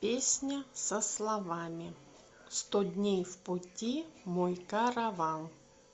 песня со словами сто дней в пути мой караван